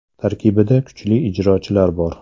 Tarkibida kuchli ijrochilar bor.